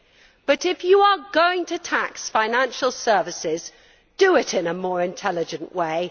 However, if you are going to tax financial services, do it in a more intelligent way.